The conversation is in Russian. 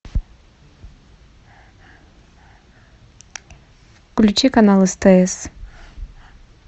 включи канал стс